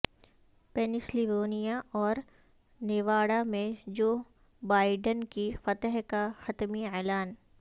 Pennsylvania اور Nevada میں Joe Biden کی فتح کا حتمی اعلان